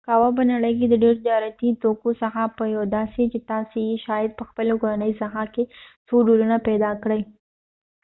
قهوه په نړۍ کې د ډیرو تجارتی توکو څخه یو دي چې تاسی یې شاید په خپل کورنۍ ساحه کې څو ډولونه پیدا کړۍ